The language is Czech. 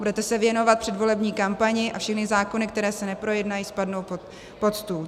Budete se věnovat předvolební kampani a všechny zákony, které se neprojednají, spadnou pod stůl.